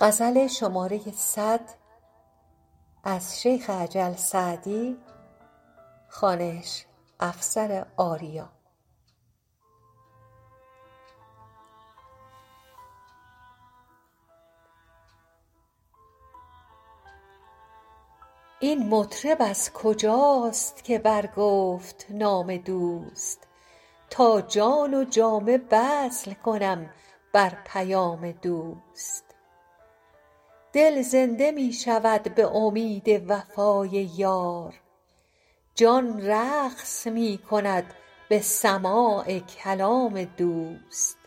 این مطرب از کجاست که برگفت نام دوست تا جان و جامه بذل کنم بر پیام دوست دل زنده می شود به امید وفای یار جان رقص می کند به سماع کلام دوست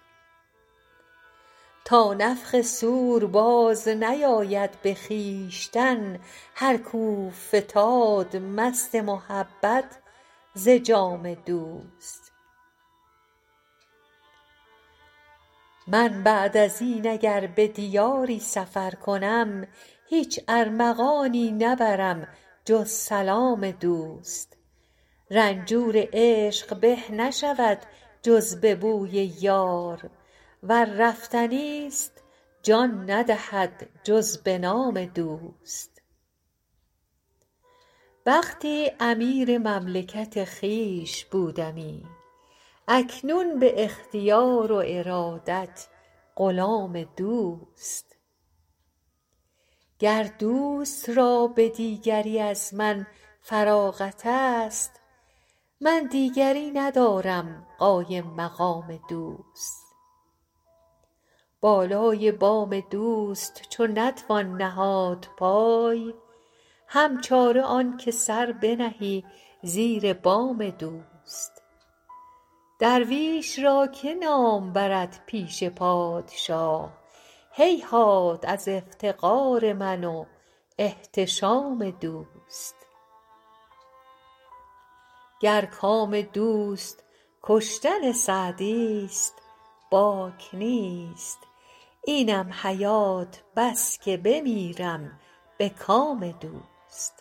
تا نفخ صور بازنیاید به خویشتن هر کاو فتاد مست محبت ز جام دوست من بعد از این اگر به دیاری سفر کنم هیچ ارمغانیی نبرم جز سلام دوست رنجور عشق به نشود جز به بوی یار ور رفتنی ست جان ندهد جز به نام دوست وقتی امیر مملکت خویش بودمی اکنون به اختیار و ارادت غلام دوست گر دوست را به دیگری از من فراغت ست من دیگری ندارم قایم مقام دوست بالای بام دوست چو نتوان نهاد پای هم چاره آن که سر بنهی زیر بام دوست درویش را که نام برد پیش پادشاه هیهات از افتقار من و احتشام دوست گر کام دوست کشتن سعدی ست باک نیست اینم حیات بس که بمیرم به کام دوست